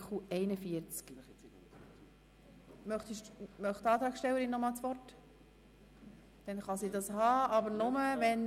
– Sie erhält das Wort, sofern jemand den Knopf drückt und sie auf die Rednerliste setzt.